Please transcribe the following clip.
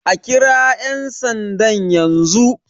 A kira yan sandan yanzu!